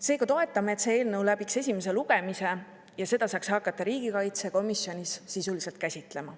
Seega toetame seda, et see eelnõu läbiks esimese lugemise ja seda saaks hakata riigikaitsekomisjonis sisuliselt käsitlema.